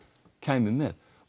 kæmi með